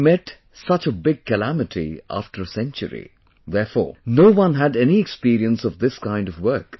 We have met such a big calamity after a century, therefore, no one had any experience of this kind of work